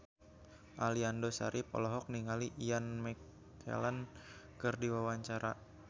Aliando Syarif olohok ningali Ian McKellen keur diwawancara